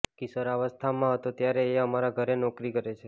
કિશોરાવસ્થામાં હતો ત્યારથી એ અમારા ઘરે નોકરી કરે છે